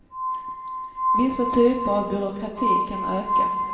Vissa typer av byråkrati kan öka.